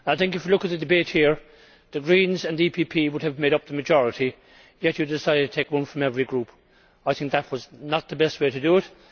I think if you look at this debate, the Greens and the PPE Group would have made up the majority, yet you decided to take one from every group. I think that was not the best way to do it.